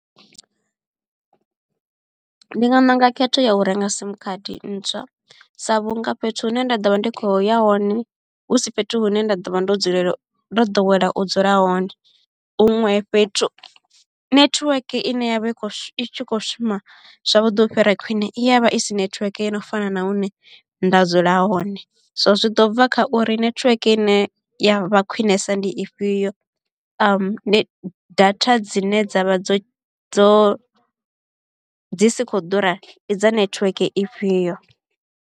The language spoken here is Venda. Ndi nga ṋanga khetho ya u renga sim khadi ntswa sa vhunga fhethu hune nda ḓo vha ndi kho ya hone hu si fhethu hune nda ḓo vha ndo ḓowela u dzula hone huṅwe fhethu. Nethiweke ine yavha i kho shu i tshi kho shuma zwavhuḓi u fhira khwine i ya vha i si nethiweke yo no fana na hune nda dzula hone, so zwi ḓo bva kha uri nethiweke ine ya vha khwiṋesa ndi ifhio data dzine dzavha dzo dzo dzi si kho ḓura ndi dza nethiweke ifhio.